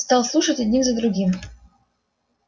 стал слушать один за другим